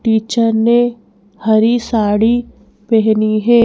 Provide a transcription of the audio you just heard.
Teacher ने हरी साड़ी पहनी है।